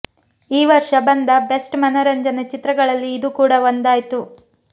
ಈ ವರ್ಷ ಬಂದ ಬೆಸ್ಟ್ ಮನರಂಜನೆ ಚಿತ್ರಗಳಲ್ಲಿ ಇದು ಕೂಡ ಒಂದಾಯ್ತು